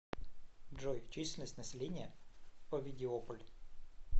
джой численность населения овидиополь